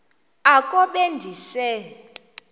oko be ndise